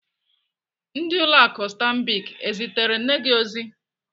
Ndị ụlọ akụ Stambic ezitere nne gi ozi?